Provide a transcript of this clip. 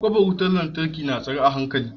kofar wutan lantarki na tsare a hankali.